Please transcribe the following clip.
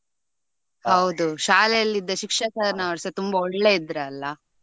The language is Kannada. ಹೌದು ಶಾಲೆಯಲ್ಲಿ ಇದ್ದ ಶಿಕ್ಷಕನವರುಸ ತುಂಬಾ ಒಳ್ಳೆ ಇದ್ರಲ್ಲ.